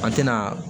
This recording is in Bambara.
A tɛna